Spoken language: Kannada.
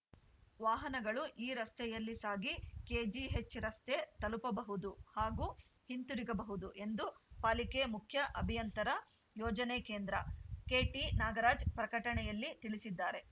ವಾಹನಗಳು ಈ ರಸ್ತೆಯಲ್ಲಿ ಸಾಗಿ ಕೆ ಜಿ ಎಚ್‌ರಸ್ತೆ ತಲುಪಬಹುದು ಹಾಗೂ ಹಿಂತಿರುಗಬಹುದು ಎಂದು ಪಾಲಿಕೆ ಮುಖ್ಯ ಅಭಿಯಂತರಯೋಜನೆ ಕೇಂದ್ರ ಕೆಟಿನಾಗರಾಜ್‌ ಪ್ರಕಟಣೆಯಲ್ಲಿ ತಿಳಿಸಿದ್ದಾರೆ